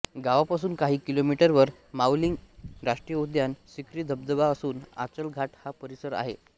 गावापासून काही किलोमीटरवर माउलिंग राष्ट्रीय उद्यान सिर्की धबधबा असून आचल घाट हा परिसरही आहे